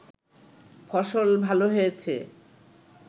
ফসল ভাল হয়েছে